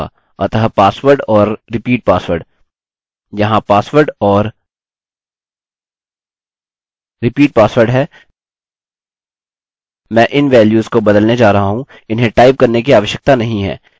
अतः pasword और repeat password यहाँ password और repeat password है मैं इन वैल्यूस को बदलने जा रहा हूँ इन्हें टाइप करने की आवश्यकता नहीं है